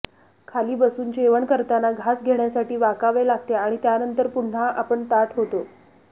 खाली बसून जेवण करताना घास घेण्यासाठी वाकावे लागते आणि नंतर पुन्हा आपण ताठ होतो